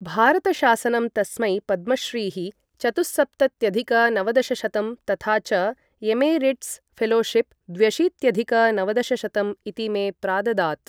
भारतशासनं तस्मै पद्मश्रीः चतुःसप्तत्यधिक नवदशशतं तथा च एमेरिट्स् फेलोशिप् द्व्यशीत्यधिक नवदशशतं इतीमे प्राददात्।